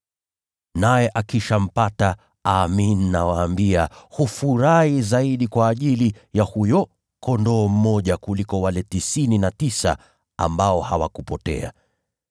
Naye akishampata, amin, nawaambia, hufurahi zaidi kwa ajili ya huyo kondoo mmoja kuliko wale tisini na tisa ambao hawakupotea.